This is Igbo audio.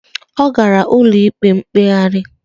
Ọ gara ụlọ ikpe mkpegharị.